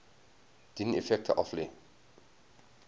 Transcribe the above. dien effekte aflê